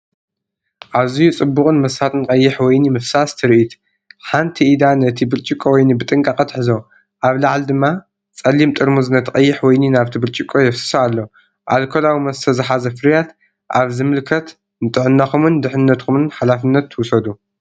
ኣዝዩ ጽቡቕን መሳጥን ቀይሕ ወይኒ ምፍሳስ ትርኢት፣ ሓንቲ ኢዳ ነቲ ብርጭቆ ወይኒ ብጥንቃቐ ትሕዞ፤ ኣብ ላዕሊ ድማ ጸሊም ጥርሙዝ ነቲ ቀይሕ ወይኒ ናብቲ ብርጭቆ የፍስሶ ኣሎ። ኣልኮላዊ መስተ ዝሓዘ ፍርያት ኣብ ዝምልከት ንጥዕናኹምን ድሕነትኩምን ሓላፍነት ውሰዱ።